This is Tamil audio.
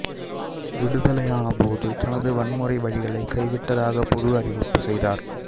விடுதலையானபோது தனது வன்முறை வழிகளை கைவிட்டதாக பொது அறிவிப்புச் செய்தார்